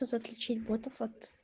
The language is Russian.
как отключить ботов от